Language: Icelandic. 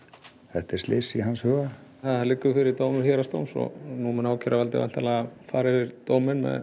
þetta er slys í hans huga það liggur fyrir dómur héraðsdóms og nú mun ákæruvaldið væntanlega fara yfir dóminn